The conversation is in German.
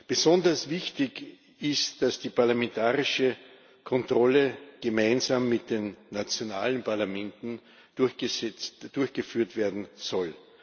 Besonders wichtig ist, dass die parlamentarische Kontrolle gemeinsam mit den nationalen Parlamenten durchgeführt werden soll.